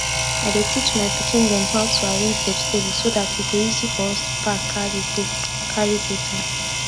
i dey teach my pikin dem how to arrange vegetable so dat e go easy for us to pack carry go carry go town